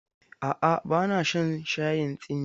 A'a, ba na shan shayin tsimi.